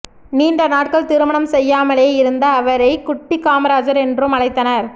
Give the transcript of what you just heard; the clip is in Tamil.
நீண்ட நாட்கள் திருமணம் செய்யாமலே இருந்த அவரை குட்டிக் காமராஜர் என்றும் அழைத்தனர்